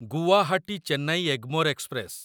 Guwahati Chennai Egmore express